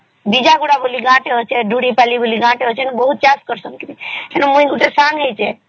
ବୀଜପଲ୍ଲୀ ଆଉ ଦୁଡ଼ି ପଲ୍ଲୀ ବୋଲି ଗୋଟେ ଗାଁ ତ ଅଛନ୍ତ ମୁଇ ବି ସାଙ୍ଗ ହେଇଛେ